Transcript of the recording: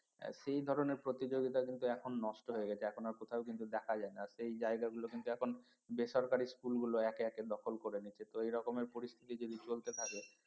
সেই ধরনের প্রতিযোগিতা কিন্তু এখন নষ্ট হয়ে গেছে এখন আর কোথাও কিন্তু দেখা যায় না আর সেই জায়গা গুলো কিন্তু এখন বেসরকারি school গুলো একে একে দখল করে নিচ্ছে তো এই রকমের পরিস্থিতি যদি চলতে থাকে